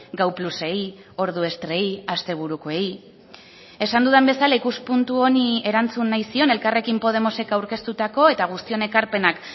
gau plusei ordu estrei asteburukoei esan dudan bezala ikuspuntu honi erantzun nahi zion elkarrekin podemosek aurkeztutako eta guztion ekarpenak